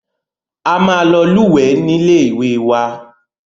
A máa lọ lúwẹ̀ẹ́ ní ilé ìwé wa.